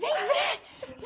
Vem ver!